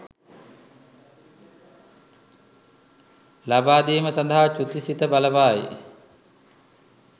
ලබාදීම සඳහා චුති සිත බලපායි